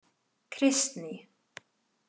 Kristný